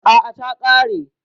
A'a, ta ƙare.